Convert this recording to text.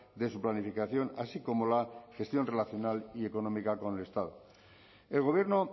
de su planificación así como la gestión relacional y económica con el estado el gobierno